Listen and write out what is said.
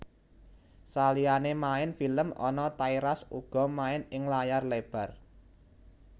Saliyané main film Anna Tairas uga main ing layar lebar